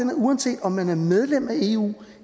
har uanset om man er medlem af eu